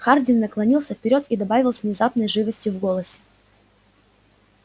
хардин наклонился вперёд и добавил с внезапной живостью в голосе